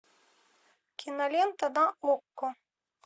кинолента на окко